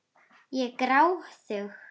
Ég er gráðug.